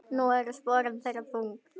Nú eru sporin þeirra þung.